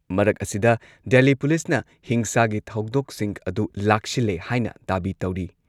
ꯃꯔꯛ ꯑꯁꯤꯗ, ꯗꯦꯜꯂꯤ ꯄꯨꯂꯤꯁꯅ ꯍꯤꯡꯁꯥꯒꯤ ꯊꯧꯗꯣꯛꯁꯤꯡ ꯑꯗꯨ ꯂꯥꯛꯁꯤꯜꯂꯦ ꯍꯥꯏꯅ ꯗꯥꯕꯤ ꯇꯧꯔꯤ ꯫